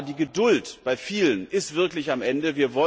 Eines ist klar, die Geduld bei vielen ist wirklich am Ende.